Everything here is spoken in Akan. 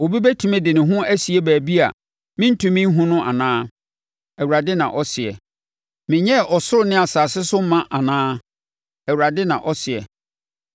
Obi bɛtumi de ne ho asie baabi a merentumi nhunu no anaa?” Awurade na ɔseɛ. “Menyɛɛ ɔsoro ne asase so ma anaa?” Awurade na ɔseɛ.